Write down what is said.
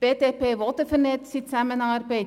Die BDP will eine vernetzte Zusammenarbeit.